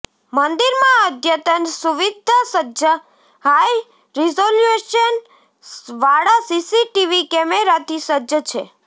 મંદિરમાં અદ્યતન સુવિદ્યાસજ્જ હાઇ રિઝોલ્યુશન વાળા સીસી ટીવી કેમેરાથી સજ્જ છે